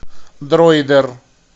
дроидер